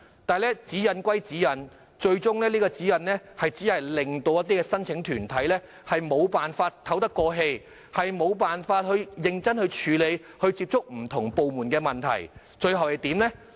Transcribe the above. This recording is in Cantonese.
但是，指引歸指引，最終只令申請團體透不過氣來，無法認真處理難以接觸不同部門的問題，結果怎樣呢？